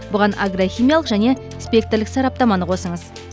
бұған агрохимиялық және спектрлік сараптаманы қосыңыз